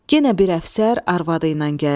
Yenə bir əfsər arvadı ilə gəldi.